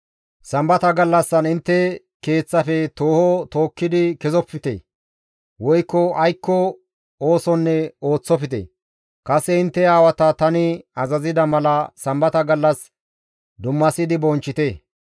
Sambata gallassan intte keeththafe tooho tookkidi kessofte; woykko aykko oosonne ooththofte. Kase intte aawata tani azazida mala, Sambata gallas dummasidi bonchchite.